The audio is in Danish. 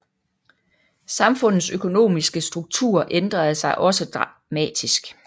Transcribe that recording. Samfundets økonomiske struktur ændrede sig også dramatisk